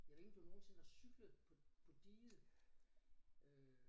Jeg ved ikke om du nogensinde har cyklet på på diget øh